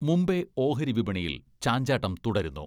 മുംബൈ ഓഹരിവിപണിയിൽ ചാഞ്ചാട്ടം തുടരുന്നു.